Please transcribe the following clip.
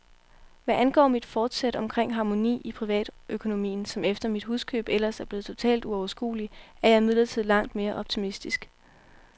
Hvad angår mit forsæt omkring harmoni i privatøkonomien, som efter mit huskøb ellers er blevet totalt uoverskuelig, er jeg imidlertid langt mere optimistisk.